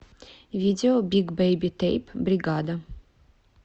видео биг бэйби тэйп бригада